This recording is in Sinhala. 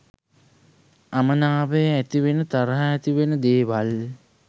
අමනාපය ඇතිවෙන තරහ ඇතිවෙන දේවල්